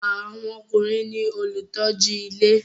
Àwọn ọkùnrin ní olùtọ́jú ilé